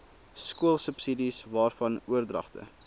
skoolsubsidies waarvan oordragte